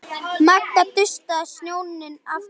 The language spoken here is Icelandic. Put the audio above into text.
Magga dustaði snjóinn af Kötu.